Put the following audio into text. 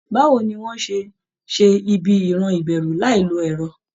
Báwo ni wọ́n á ṣe ṣe ibi ìran ìbẹ̀rù láì lo ẹ̀rọ?